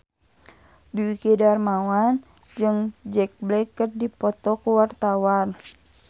Dwiki Darmawan jeung Jack Black keur dipoto ku wartawan